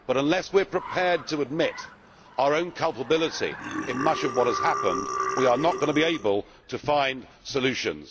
But unless we are prepared to admit our own culpability in much of what has happened, we are not going to be able to find solutions.